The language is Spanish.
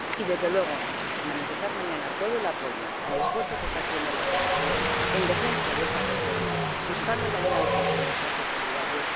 Y, desde luego, hay que manifestar mañana todo el apoyo al esfuerzo que está haciendo la Comisión en defensa de esa reforma, buscando la alianza con los socios solidarios.